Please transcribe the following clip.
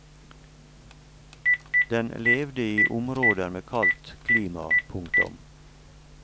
Den levde i områder med kaldt klima. punktum